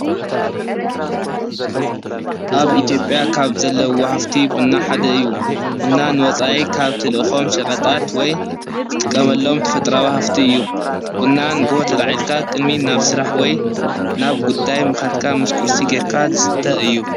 ኣብ ኢትየዮጴያ ኻብ ዘለዎ ሃፍቲ ብና ሓደ እዩ ብና ንወፃኢ ካብ ትልእኾም ሸቐጣት ወይ ዝጥቀመሎም ተፈጥራዊ ሃፍቲ እዩ ብና ንግሆ ተላኣልዒልካ ቅሚድ ናብ ሥራሕ ወይ ናብ ጉዳይ ምኻድካ ምስ ቊርሲ ጌርካ ዝስተ እዩ።